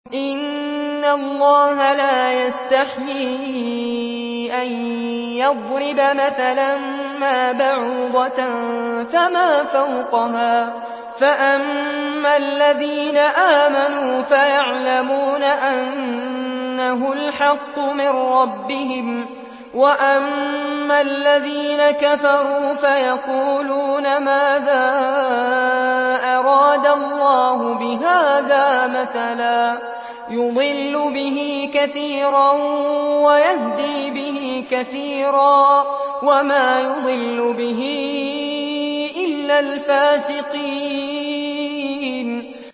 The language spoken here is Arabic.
۞ إِنَّ اللَّهَ لَا يَسْتَحْيِي أَن يَضْرِبَ مَثَلًا مَّا بَعُوضَةً فَمَا فَوْقَهَا ۚ فَأَمَّا الَّذِينَ آمَنُوا فَيَعْلَمُونَ أَنَّهُ الْحَقُّ مِن رَّبِّهِمْ ۖ وَأَمَّا الَّذِينَ كَفَرُوا فَيَقُولُونَ مَاذَا أَرَادَ اللَّهُ بِهَٰذَا مَثَلًا ۘ يُضِلُّ بِهِ كَثِيرًا وَيَهْدِي بِهِ كَثِيرًا ۚ وَمَا يُضِلُّ بِهِ إِلَّا الْفَاسِقِينَ